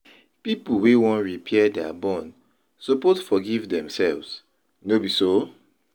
Pipo wey wan repair their bond suppose forgive themselves, no be so?